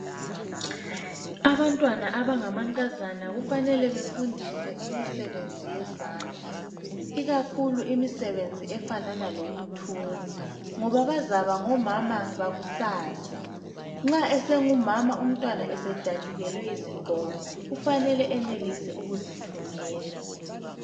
Abantwana abangamankazana kufanele befundiswe imisebenzi yezandla, ikakhulu imisebenzi efanana lokuthunga, ngoba bazaba ngomama bakusasa. Nxa esengumama umntwana esedatshukelwe yisigqoko, kufanele enelise ukuzithungela.